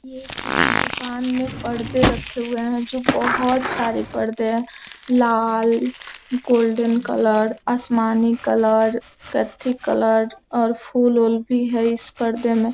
ये किसी दुकान में पर्दे रखे हुए हैं जो बहुत सारी पर्दे हैं लाल गोल्डन कलर आसमानी कलर कथी कलर और फूल उल भी हैं इस परदे में।